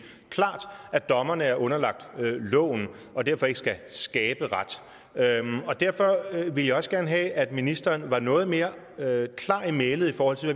klart at dommerne er underlagt loven og derfor ikke skal og derfor ville jeg også gerne have at ministeren var noget mere klar i mælet i forhold til